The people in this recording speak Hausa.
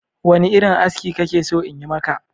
Wane irin aski kake so in yi maka?